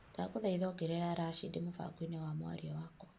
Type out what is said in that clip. Ndagũthaitha ongerera Rashĩdĩ mũbango-inĩ wa mwaria wakwa.